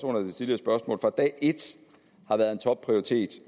under det tidligere spørgsmål fra dag et har været en topprioritet